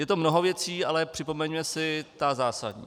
Je to mnoho věcí, ale připomeňme si ty zásadní.